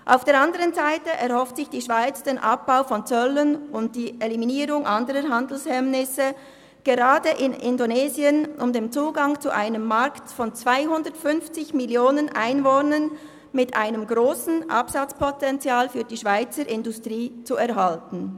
Auf der anderen Seite erhofft sich die Schweiz den Abbau von Zöllen und die Eliminierung anderer Handelshemmnisse, insbesondere in Indonesien, um den Zugang zu einem Markt mit 250 Mio. Einwohnern und einem grossen Absatzpotenzial für die Schweizer Industrie zu erhalten.